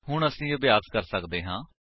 ਹੁਣ ਅਸੀ ਅਭਿਆਸ ਕਰ ਸੱਕਦੇ ਹਾਂ